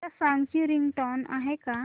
या सॉन्ग ची रिंगटोन आहे का